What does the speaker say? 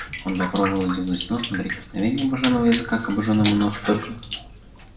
он попробовал лизнуть нос но прикосновение обожённого языка к обожжённому носу только